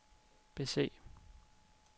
bese